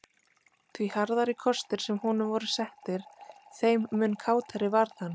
Því harðari kostir sem honum voru settir þeim mun kátari varð hann.